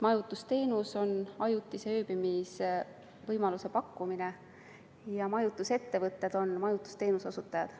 Majutusteenus on ajutise ööbimise võimaluse pakkumine ja majutusettevõtted on majutusteenuse osutajad.